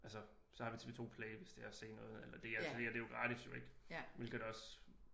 Altså så har vi TV 2 Play hvis det er at se noget eller DRTV og det er jo gratis ik hvilket også